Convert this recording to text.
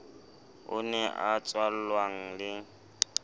o ne a tswallwang le